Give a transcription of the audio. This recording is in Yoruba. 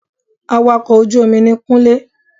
Awakọ̀ ojú omi ni Kúnlé